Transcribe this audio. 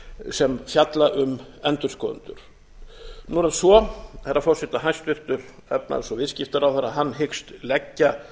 sem fjalla um endurskoðendur nú er það svo herra forseti að hæstvirtur efnahags og viðskiptaráðherra hyggst leggja